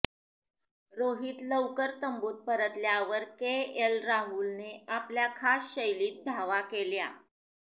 रोहित लवकर तंबूत परतल्यावर के एल राहुलने आपल्या खास शैलीत धावा केल्या